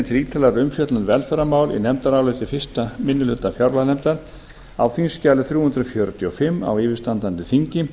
til ítarlegrar umfjöllunar um velferðarmál í nefndaráliti fyrsti minni hluta fjárlaganefndar á þingskjali þrjú hundruð fjörutíu og fimm á yfirstandandi þingi